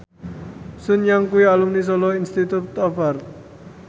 Sun Yang kuwi alumni Solo Institute of Art